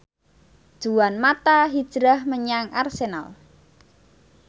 Juan mata hijrah menyang Arsenal